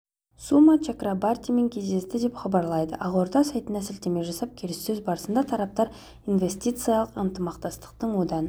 сума чакрабартимен кездесті деп хабарлайды ақорда сайтына сілтеме жасап келіссөз барысында тараптар инвестициялық ынтымақтастықтың одан